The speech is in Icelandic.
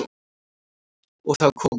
Og þá kom hún.